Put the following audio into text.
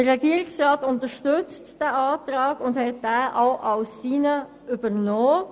Der Regierungsrat unterstützt diesen Antrag und hat ihn übernommen.